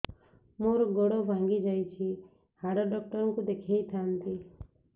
ମୋର ଗୋଡ ଭାଙ୍ଗି ଯାଇଛି ହାଡ ଡକ୍ଟର ଙ୍କୁ ଦେଖେଇ ଥାନ୍ତି